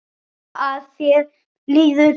Vona að þér líði betur.